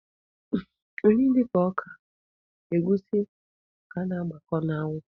Nri dịka ọka, egwusi ka a na-agbakọ n'anwụ.